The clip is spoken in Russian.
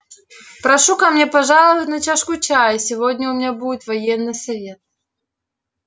прошу ко мне пожаловать на чашку чаю сегодня у меня будет военный совет